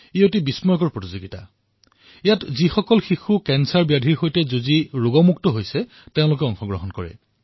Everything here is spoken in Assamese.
এয়া এনে এক আচৰিত ক্ৰীড়া যত যুৱ কৰ্কট ৰোগী যিসকলে কৰ্কট ৰোগ জয় কৰিছে তেওঁলোকে অংশগ্ৰহণ কৰে